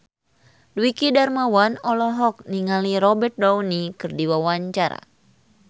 Dwiki Darmawan olohok ningali Robert Downey keur diwawancara